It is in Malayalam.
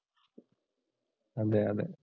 അതെ അതെ.